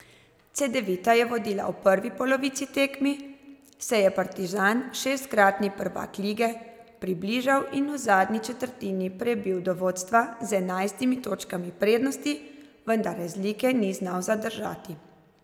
Cedevita je vodila v prvi polovici tekmi, se je Partizan, šestkratni prvak lige, približal in v zadnji četrtini prebil do vodstva z enajstimi točkami prednosti, vendar razlike ni znal zadržati.